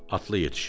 Atlı yetişir.